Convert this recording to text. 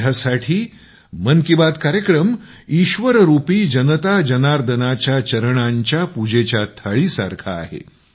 माझ्यासाठी मन की बात कार्यक्रम ईश्वररूपी जनता जनार्दनाच्या चरणांच्या प्रसादाची थाळीसारखा आहे